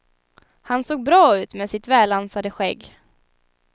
Han såg bra ut med sitt välansade skägg.